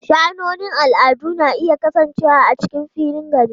Sha'anonin al'adu na iya kasancewa a cikin filin gari.